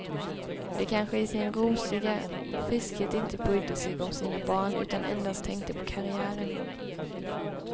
De kanske i sin rosiga friskhet inte brydde sig om sina barn utan endast tänkte på karriären.